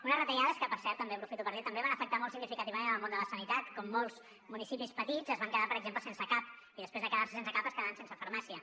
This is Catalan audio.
unes retallades que per cert també aprofito per dir ho també van afectar molt significativament el món de la sanitat molts municipis petits es van quedar per exemple sense cap i després de quedar se sense cap es quedaven sense farmàcia